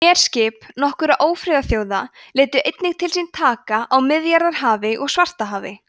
herskip nokkurra ófriðarþjóða létu einnig til sín taka á miðjarðarhafi og svartahafi